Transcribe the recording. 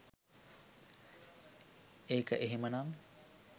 ඒක එහෙමනම්